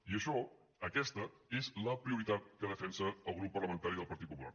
i ai·xò aquesta és la prioritat que defensa el grup parla·mentari del partit popular